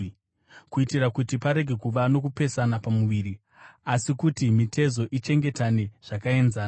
kuitira kuti parege kuva nokupesana pamuviri, asi kuti mitezo ichengetane zvakaenzana.